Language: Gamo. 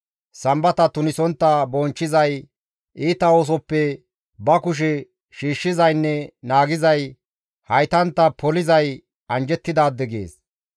Sambata tunisontta bonchchizay, iita oosoppe ba kushe shiishshizaynne naagizay, haytantta polizay anjjettidaade» gees.